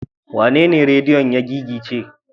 Wanene rediyon ya gigice?